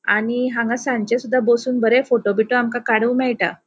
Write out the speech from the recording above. आणि हांगा सांचे सुदा बोसोन बरे फोटो बीटो आमका काडूंक मेळटा.